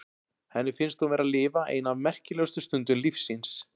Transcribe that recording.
Henni finnst hún vera að lifa eina af merkilegustu stundum lífs síns.